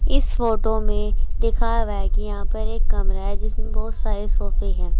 इस फोटो में दिखा बेगिया पर एक कमरा है जिसमें बहुत सारे सोफे हैं।